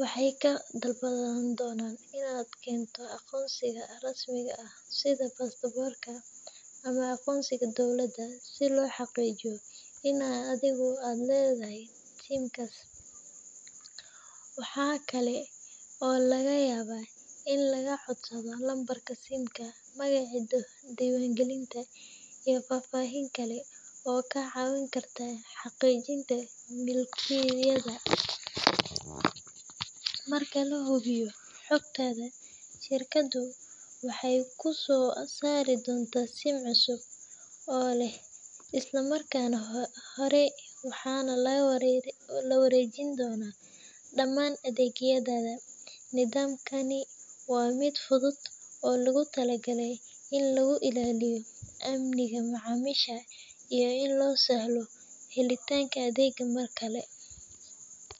waxeey ka codsan donan inaad keento aqoonsi, waxaa laga codsanaa magaca simka, marka lahubiyo xogtada waxaa lagu siina sim cusub, waxaa la wareejin doona adeegyada, iyo in lagu sahlo helitaanka adeega markale.